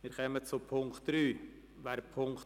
Wir kommen zum Punkt 3.